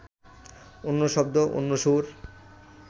অন্য শব্দ, অন্য সুর